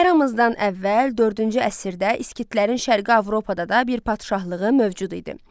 Əramızdan əvvəl dördüncü əsrdə skitlərin Şərqi Avropada da bir padşahlığı mövcud idi.